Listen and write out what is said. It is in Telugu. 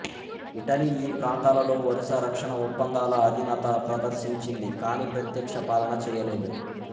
ఇటలీ ఈ ప్రాంతాలలో వరుస రక్షణ ఒప్పందాల ఆధీనత ప్రదర్శించింది కానీ ప్రత్యక్ష పాలన చేయలేదు